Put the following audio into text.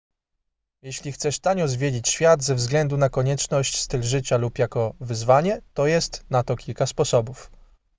jeśli chcesz tanio zwiedzić świat ze względu na konieczność styl życia lub jako wyzwanie to jest na to kilka sposobów